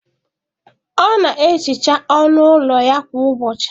Ọ na-ehicha ọnụ ụlọ ya kwa ụbọchị.